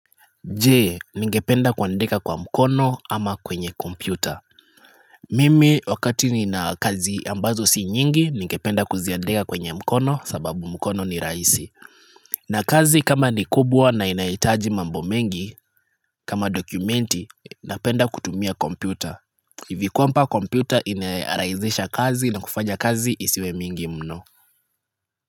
Je ningependa kuandika kwa mkono ama kwenye kompyuta Mimi wakati ni na kazi ambazo si nyingi ningependa kuziandika kwenye mkono sababu mkono ni raisi na kazi kama ni kubwa na inaitaji mambo mengi kama dokumenti napenda kutumia kompyuta hivi kwamba kompyuta inaraizisha kazi na kufanya kazi isiwe mingi mno.